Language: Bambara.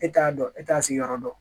E t'a dɔn e t'a sigiyɔrɔ dɔn